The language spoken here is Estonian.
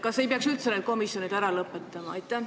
Kas ei peaks üldse need komisjonid ära lõpetama?